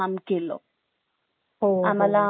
आता आपले एवढे सगळे लीडर्स होते लीडर्स च इम्पॉर्टन्स कस माहित झालं